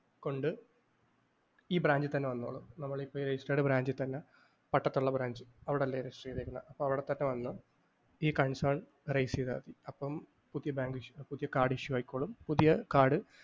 കൊണ്ട് ഈ branch ൽത്തന്നെ വന്നോളൂ. ഓ നമ്മളിപ്പം registered branch ൽത്തന്നെ പട്ടത്തൊള്ള branch അവിടല്ലേ register ചെയ്തേക്കുന്നെ. അവിടെത്തന്നെ വന്ന് ഈ concern arise ചെയ്താൽ മതി. അപ്പോ പുതിയ ബാങ്ക് issue കാർഡ് issue ആയിക്കോളും. പുതിയ കാർഡ്